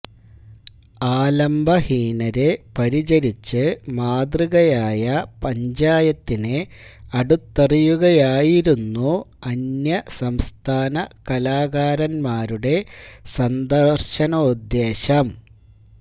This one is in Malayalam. ആലംബഹീനരെ പരിചരിച്ച് മാതൃകയായ പഞ്ചായത്തിനെ അടുത്തറിയുകയായിരുന്നു അന്യസംസ്ഥാന കലാകാരന്മാരുടെ സന്ദര്ശനോദ്ദേശ്യം